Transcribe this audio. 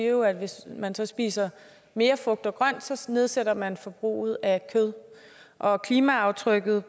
jo at hvis man spiser mere frugt og grønt så så nedsætter man forbruget af kød og klimaaftrykket